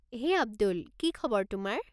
হেই, আব্দুল, কি খবৰ তোমাৰ?